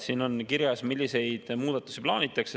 Siin on kirjas, milliseid muudatusi plaanitakse.